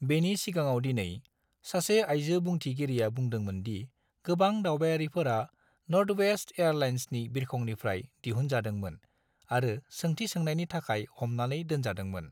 बेनि सिगाङाव दिनै, सासे आइजो बुंथिगिरिया बुंदोंमोन दि गोबां दावबायारिफोरा नर्थवेस्ट एयरलाइन्सनि बिरखंनिफ्राय दिहुनजादोंमोन आरो सोंथि सोंनायनि थाखाय हमनानै दोनजादोंमोन।